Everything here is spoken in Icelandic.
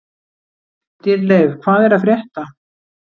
Dýrleif, hvað er að frétta?